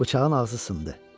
Bıçağın ağzı sındı.